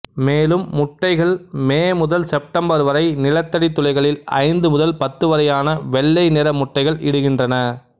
மேலும் முட்டைகள் மே முதல் செப்டம்பர் வரை நிலத்தடி துளைகளில் ஐந்து முதல் பத்துவரையான வெள்ளை நிற முட்டைகள் இடுகிறன்றன